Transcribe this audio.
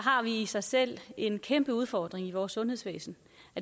i sig selv en kæmpeudfordring i vores sundhedsvæsen